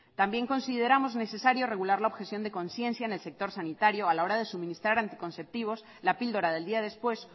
también consideramos necesario regular la objeción de conciencia en el sector sanitario a la hora de suministrar anticonceptivos la píldora del día después